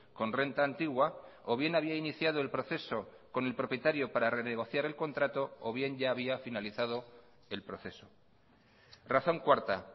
con renta antigua o bien había iniciado el proceso con el propietario para renegociar el contrato o bien ya había finalizado el proceso razón cuarta